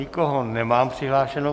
Nikoho nemám přihlášeného.